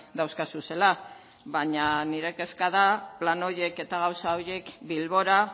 dauzkazuzela baina nire kezka da plan horiek eta gauza horiek bilbora